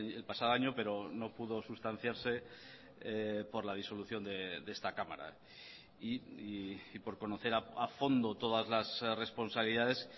el pasado año pero no pudo sustanciarse por la disolución de esta cámara y por conocer a fondo todas las responsabilidades